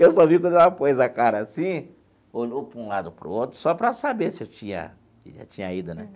Eu só vi quando ela pôs a cara assim, olhou para um lado e para o outro, só para saber se eu tinha já tinha ido né.